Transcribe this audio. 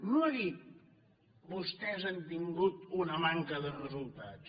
no ha dit vostès han tingut una manca de resultats